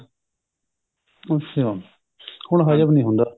ਅੱਛਾ ਹੁਣ ਹਜਮ ਨਹੀਂ ਹੁੰਦਾ